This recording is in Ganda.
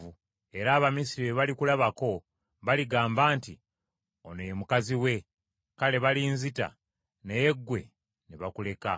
era Abamisiri bwe balikulabako baligamba nti, ‘Ono ye mukazi we,’ kale balinzita, naye ggwe ne bakuleka.